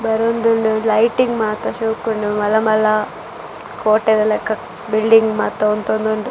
ಬರೊಂದುಲ್ಲೆರ್ lighting ಮಾತ ಶೋಕುಂಡು ಮಲ್ಲ ಮಲ್ಲ ಕೋಟೆ ದ ಲೆಕ ಬಿಲ್ಡಿಂಗ್ ಮಾತ ಉಂತೊಂದುಂಡು.